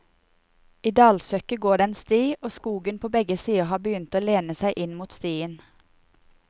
I dalsøkket går det en sti, og skogen på begge sider har begynt å lene seg inn mot stien.